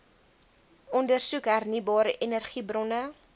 ondersoek hernieubare energiebronne